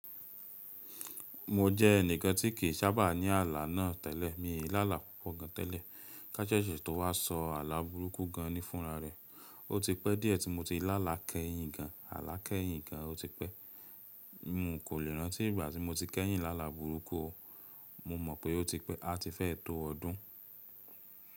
Mo jẹ́ ẹnìkan tí kì í sábà ní àlá náà tẹ́lẹ̀, mi ò lá àlá púpọ̀ gan tẹ́lẹ̀. Ká ṣẹ̀ṣẹ̀ tó wá sọ àlá burúkú gan ní fúnra rẹ̀, ó ti pẹ́ díẹ̀ tí mo ti lá àlá kẹ́yìn gan, àlá kẹ́yìn gan ó ti pẹ́. Mo kò lè rántí ìgbà tí mo ti kẹ́yìn lá là burúkú o. Mo mọ̀ pé ó ti pẹ́, a ti fẹ́ tó ọdún.